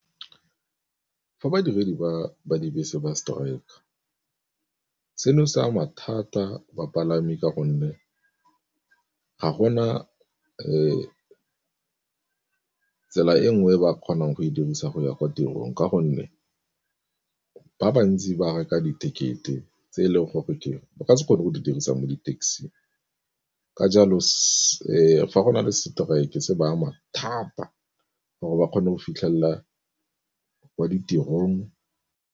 Fa badiredi ba ba dibese ba strike-ka seno se ama thata bapalami, ka gonne ga go na tsela e nngwe ba kgonang go e dirisa go ya kwa tirong, ka gonne ba bantsi ba reka di-ticket-e tse e leng gore ke eng o ka se kgone go di dirisang mo di-taxi-ng. Ka jalo fa go na le strike se ba ama thata gore ba kgone go fitlhelela kwa ditirong.